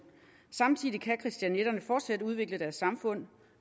samtidig kan christianitterne fortsat udvikle deres samfund